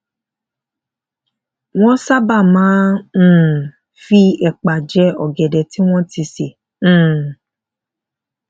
wón sábà máa um fi èpà je ògèdè tí wón ti sè um